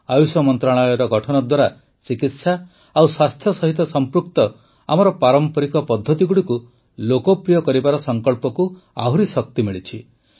ଆୟୁଷ ମନ୍ତ୍ରଣାଳୟର ଗଠନ ଦ୍ୱାରା ଚିକିତ୍ସା ଓ ସ୍ୱାସ୍ଥ୍ୟ ସହିତ ସଂପୃକ୍ତ ଆମର ପାରମ୍ପରିକ ପଦ୍ଧତିଗୁଡ଼ିକୁ ଲୋକପ୍ରିୟ କରିବାର ସଂକଳ୍ପକୁ ଆହୁରି ଶକ୍ତି ମିଳିଛି